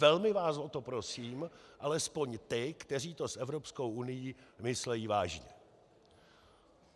Velmi vás o to prosím, alespoň ty, kteří to s Evropskou unií myslí vážně.